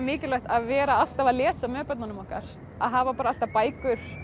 mikilvægt að vera alltaf að lesa með börnunum okkar að hafa alltaf bækur